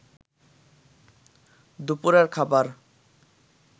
দুপুরের খাবার